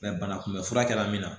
banakunbɛ fura kɛla min na